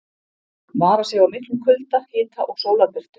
Vara sig á miklum kulda, hita og sólarbirtu.